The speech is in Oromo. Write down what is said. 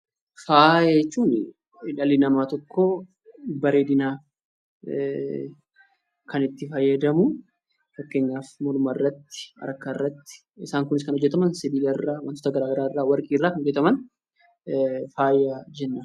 Faaya jechuun dhalli namaa tokko bareedinaaf kan itti fayyadamu, fakkeenyaaf morma irratti, harka irratti, isaan kunis kan hojjetaman sibila ireaa, wantoota gara garaa irraa, warqii irraa kan hojjetaman 'Faaya' jennaan.